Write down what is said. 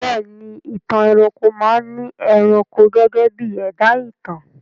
Bẹ́ẹ̀ ni, Ìtàn ẹranko máa ni ẹranko gẹ́gẹ́ bí ẹ̀dá ìtàn